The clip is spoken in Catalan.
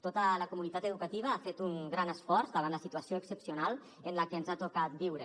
tota la comunitat educativa ha fet un gran esforç davant la situació excepcional en la que ens ha tocat viure